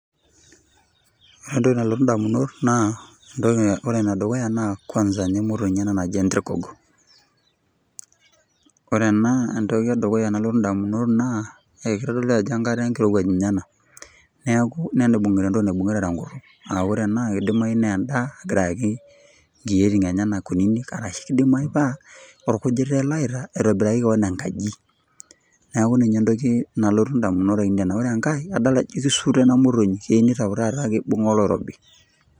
Ore entoki nalotu edamunot ore enedukuya kwanza naa emoyonyi naaji enturgugu ore entoki nalotu edamunot naa kitodolu Ajo enkare enkirowuaj ena nibungita entoki naibungieta tee nkutik AA ore ena kidimayu naa endaa egira ayaki enkyiotin enyena kutiti ashu kidimayu paa orkujita ele oyaita aitobiraki kewon enkaji neeku ninye entoki nalotu endamunoto ainei ore enkae Ajo kisutoi ena motonyi ejio kitau taata ebunga oloirobi